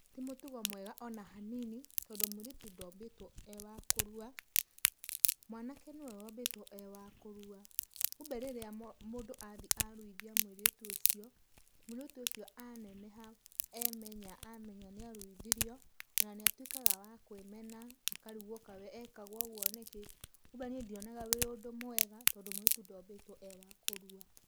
Ti mũtugo mwega ona hanini tondũ mũirĩtu ndombĩtwo e wa kũrua, mwanake nĩwe wombĩtwo e wa kũrua. Kumbĩ rĩrĩa mũndũ athi aruithia mũirĩtu ucio, mũirĩtu ucio aneneha emenya amenya nĩ aruithirio, ona nĩ atuĩkaga wa kũĩmena akarigwo kaĩ we ekagwo ũguo nĩkĩ. Kumbĩ niĩ ndionaga wĩ ũndũ mwega tondũ mũirĩtu ndombĩtwo e wa kũrua.